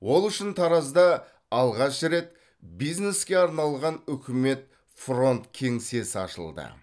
ол үшін таразда алғаш рет бизнеске арналған үкімет фронт кеңсесі ашылды